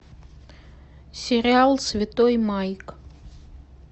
сериал святой майк